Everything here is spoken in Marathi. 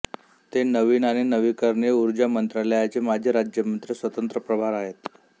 ते नवीन आणि नवीकरणीय ऊर्जा मंत्रालयाचे माजी राज्यमंत्री स्वतंत्र प्रभार आहेत